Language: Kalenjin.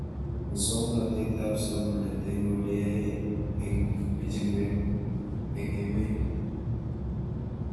Muswog'natet ab somanet eng' ole yae eng' pichinwek eng' emet